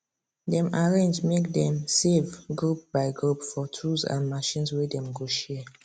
dem arrange make dem save group by group for tools and machines wey dem go share